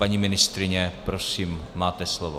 Paní ministryně, prosím, máte slovo.